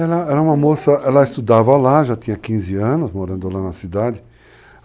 Ela era uma moça, ela estudava lá, já tinha 15 anos, morando lá na cidade.